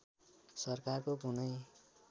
सरकारको कुनै